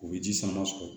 U bɛ ji sama sɔrɔ